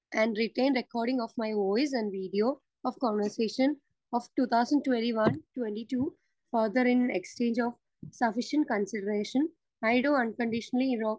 Speaker 2 and written recording of my voice and video of conversation of two thousand twenty one - twenty two. Further, in exchange of sufficient consideration, I do unconditionally, ഇറേവ്‌..